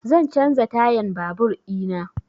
Zan canza tayan babur ina